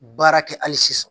Baara kɛ hali sisan